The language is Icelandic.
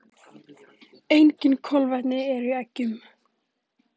Engin kolvetni eru í eggjum.